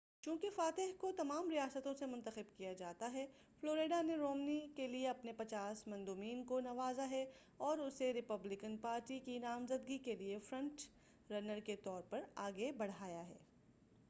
چونکہ فاتح کو تمام ریاستوں سے منتخب کیا جاتا ہے فلوریڈا نے رومنی کیلئے اپنے پچاس مندوبین کو نوازا ہے اور اسے ریپبلکن پارٹی کی نامزدگی کیلئے فرنٹ رنر کے طور پر آگے بڑھایا ہے